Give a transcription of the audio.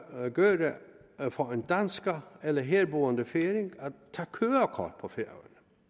for en dansker eller herboende færing at tage kørekort på færøerne